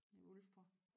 Ulfborg